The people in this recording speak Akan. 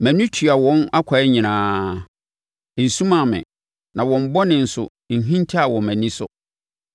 Mʼani tua wɔn akwan nyinaa; ɛnsumaa me, na wɔn bɔne nso nhintaeɛ wɔ mʼani so.